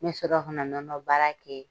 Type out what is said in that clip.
Ne sɔrɔla ka na nɔnɔbaara kɛ.